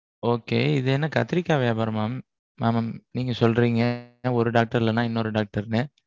Okay இது என்ன கத்திரிக்கா வியாபாரமா mam? mam நீங்க சொல்றீங்க ஒரு doctor இல்லேன்னா இன்னொரு doctor னு.